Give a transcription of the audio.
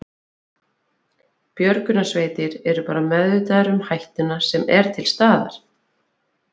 Björgunarsveitir eru bara meðvitaðar um hættuna sem er til staðar?